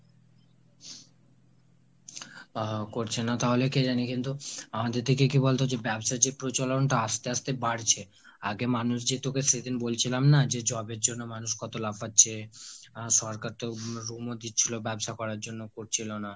আহ করছে না তাহলে কে জানে। কিন্তু আমাদের দিকে কি বলতো যে ব্যবসার যে প্রচলনটা আস্তে আস্তে বাড়ছে। আগে মানুষ যে তোকে সেদিন বলছিলাম না যে job এর জন্য মানুষ কত লাফাচ্ছে। আর সরকার তো loan ও দিচ্ছিলো ব্যাবসা করার জন্য হচ্ছিলো না।